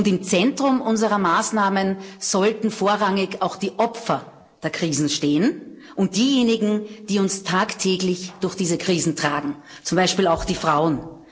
Und im Zentrum unserer Maßnahmen sollten vorrangig auch die Opfer der Krisen stehen und diejenigen, die uns tagtäglich durch diese Krisen tragen zum Beispiel auch die Frauen.